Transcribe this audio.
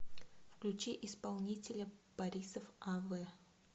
включи исполнителя борисов а в